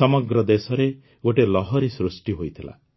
ସମଗ୍ର ଦେଶରେ ଗୋଟିଏ ଲହରି ସୃଷ୍ଟି ହୋଇଥିଲା